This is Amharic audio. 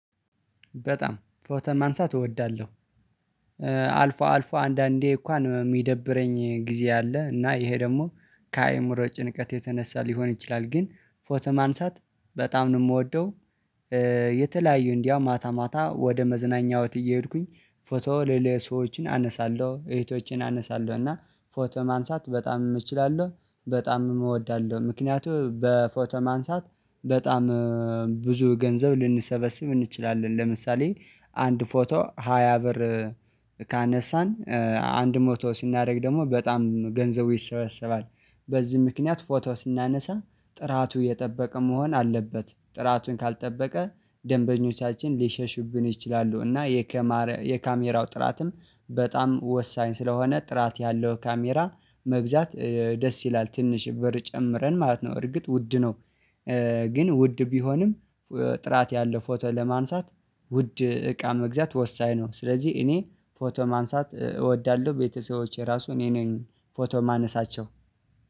በጣም ፎቶ ማንሳት እወዳለሁ። አልፎ አልፎ አንዳንዴ እንኳን የሚደብረኝ ጊዜ አለ እና ይሄ ደግሞ ከአእምሮ ጭንቀት የተነሳ ሊሆን ይችላል። ግን ፎቶ ማንሳት በጣም ነው የምወደው። የተለያዩ እንዲያውም ማታ ማታ ወደ መዝናኛዎት እየሄድኩኝ ፎቶ ለሌላ ሰዎችን አነሳለሁ እህቶችን አነሳለሁ እና ፎቶ ማንሳት በጣም እምችላለሁ። በጣም እምወዳለሁ ምክንያቱም በፎቶ ማንሳት በጣም ብዙ ገንዘብ ልንሰበስብ እንችላለን ለምሳሌ አንድ ፎቶ ሃያ ብር ካነሳን አንድ ሞቶ ሲናደርግ ደግሞ በጣም ገንዘቡ ይሰበሰባል። በዚህ ምክንያት ፎቶ ስናነሳ ጥራቱ የጠበቀ መሆን አለበት ጥራቱን ካልጠበቀ ደንበኞቻችን ሊሸሹብን ይችላሉ። እና የካሜራው ጥራትም በጣም ወሳኝ ስለሆነ ጥራት ያለው ካሜራ መግዛት ደስ ይላል ትንሽ ብር ጨምረን ማለት ነው። እርግጥ ውድ ነው ግን ውድ ቢሆንም ጥራት ያለው ፎቶ ለማንሳት ውድ እቃ መግዛት ወሳኝ ነው። ስለዚህ እኔ ፎቶ ማንሳት እወዳለሁ ቤተሰቦቼ ራሱ እኔ ነኝ ፎቶ የማነሳቸው